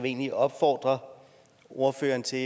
egentlig opfordre ordføreren til